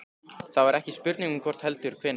Það var ekki spurning um hvort heldur hvenær.